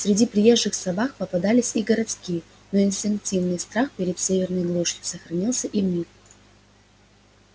среди приезжих собак попадались и городские но инстинктивный страх перед северной глушью сохранился и в них